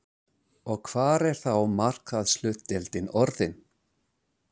Og hver er þá markaðshlutdeildin orðin?